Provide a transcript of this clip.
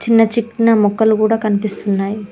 చిన్న చిక్న మొక్కలు కూడా కనిపిస్తున్నాయ్.